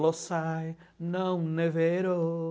Lo sai, non ne vero.